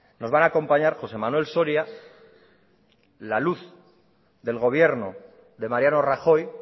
nos van acompañar josé manuel soria la luz del gobierno de mariano rajoy